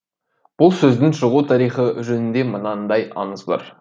бұл сөздің шығу тарихы жөнінде мынандай аңыз бар